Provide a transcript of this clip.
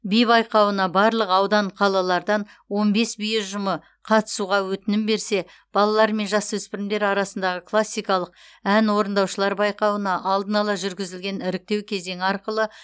би байқауына барлық аудан қалалардан он бес би ұжымы қатысуға өтінім берсе балалар мен жасөспірімдер арасындағы классикалық ән орындаушылар байқауына алдын ала жүргізілген іріктеу кезеңі арқылы